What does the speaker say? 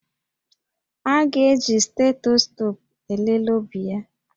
A ga-eji stetoscopu elele obi ya